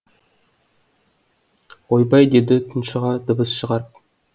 ойбай деді тұншыға дыбыс шығарып